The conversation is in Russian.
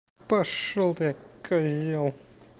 пошёл ты козел